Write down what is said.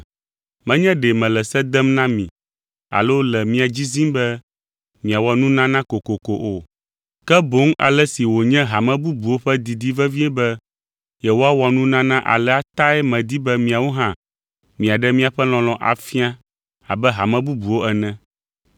Menye ɖe mele se dem na mi alo le mia dzi zim be miawɔ nunana kokoko o, ke boŋ ale si wònye hame bubuwo ƒe didi vevie be yewoawɔ nunana alea tae medi be miawo hã miaɖe miaƒe lɔlɔ̃ afia abe hame bubuwo ene.